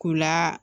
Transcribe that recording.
K'u la